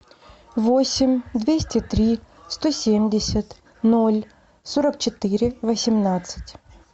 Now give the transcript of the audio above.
восемь двести три сто семьдесят ноль сорок четыре восемнадцать